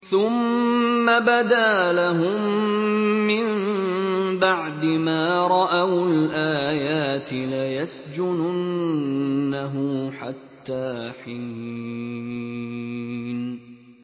ثُمَّ بَدَا لَهُم مِّن بَعْدِ مَا رَأَوُا الْآيَاتِ لَيَسْجُنُنَّهُ حَتَّىٰ حِينٍ